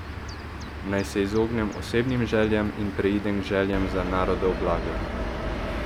Naj se izognem osebnim željam in preidem k željam za narodov blagor.